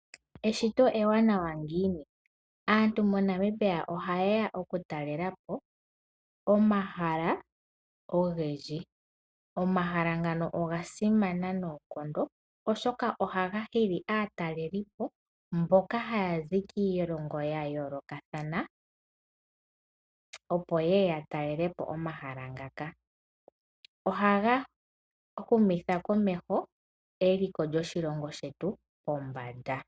Eeshito ewanawa ngiini? Aantu mo Namibia oha ye ya okutalela po omahala ogendji. Omahala ngano oga simana noonkondo oshoka oha ga hili aatalelipo mboka haya zi kiilongo ya yoolokathana opo yeye ya talele po omahala ngaka. Oha ga humitha komeho eliko lyoshilongo shetu pombanda.